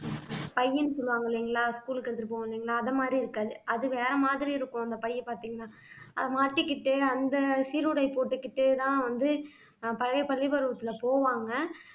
பையின்னு சொல்லுவாங்க இல்லைங்களா school க்கு எடுத்திட்டு போவோம் இல்லைங்களா அது மாதிரி இருக்காது அது வேற மாதிரி இருக்கும் அந்த பையை பார்த்தீங்கன்னா அது மாட்டிகிட்டு அந்த சீருடை போட்டுக்கிட்டுதான் வந்து ஆஹ் பழைய பள்ளி பருவத்துல போவாங்க